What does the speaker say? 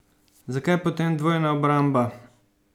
Zakaj potem dvojna obramba?